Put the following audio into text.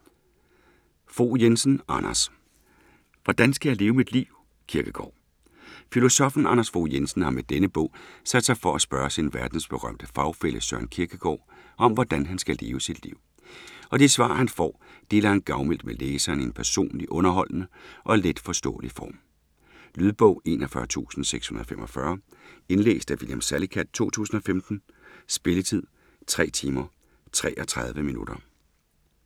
Fogh Jensen, Anders: Hvordan skal jeg leve mit liv, Kierkegaard? Filosoffen Anders Fogh Jensen har med denne bog sat sig for at spørge sin verdensberømte fagfælle Søren Kierkegaard om, hvordan han skal leve sit liv. Og de svar han får, deler han gavmildt med læseren i en personlig, underholdende og letforståelig form. Lydbog 41645 Indlæst af William Salicath, 2015. Spilletid: 3 timer, 33 minutter.